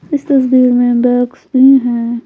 इस तस्वीर में बैग्स भी हैं।